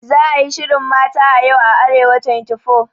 Za a yi shirin Mata a Yau a Arewa24.